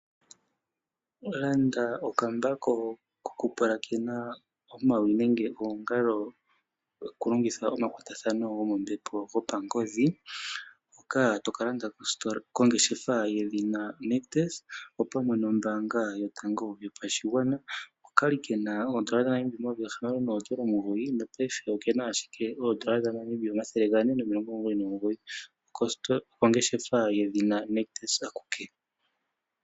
Landa okambako kokupulakena omawi nenge oongalo taka longitha omakwatathano gomombepo gopangodhi hoka to ka landa kongeshefa yedhina Nictus, opamwe nombaanga yotango yopashigwana, oka li ke na N$ 609, nopaife oke na ashike N$ 499. Okongeshefa yedhina Nictus akuke!